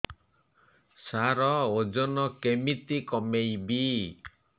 ସାର ଓଜନ କେମିତି କମେଇବି